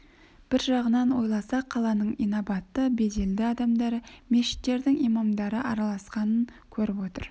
бір жағынан ойласа қаланың инабатты беделді адамдары мешіттердің имамдары араласқанын көріп отыр